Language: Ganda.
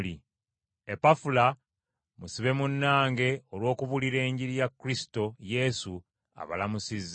Epafula, musibe munnange olw’okubuulira Enjiri ya Kristo Yesu, abalamusizza.